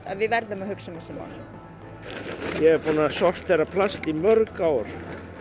að við verðum að hugsa um þessi mál ég er búinn að sortera plast í mörg ár